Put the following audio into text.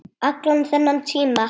Allan þennan tíma.